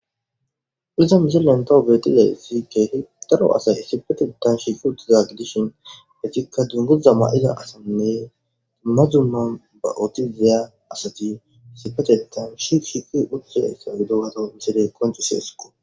Uzan yillentohobetida isi keehi daro asay issipetetan shikuutizag dishin detikka dunguza ma7ida asanne dumadzuma ba7ootizeya asati sifachetan shi shiki uccaayssa gidogato misile koncu seesqo.